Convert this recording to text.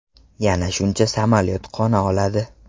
Yana shuncha samolyot qo‘na olmadi.